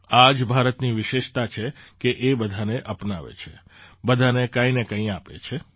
આ જ ભારતની વિશેષતા છે કે બધાને અપનાવે છે બધાને કંઈ ને કંઈ આપે છે